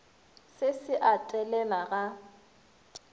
se se a telela ga